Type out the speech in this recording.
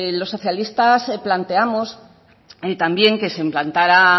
los socialistas planteamos también que se implantaran